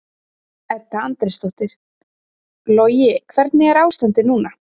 Edda Andrésdóttir: Logi hvernig er ástandið núna?